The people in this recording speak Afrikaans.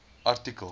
artikel